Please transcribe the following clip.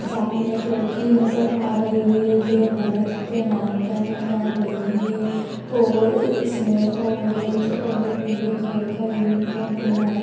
सामने एक लड़की नजर आ रही है ये भरत नाट्यम कर रही है और इसने ऑरेंज और पीले कलर का यूनिफ़ोर्म पहना है।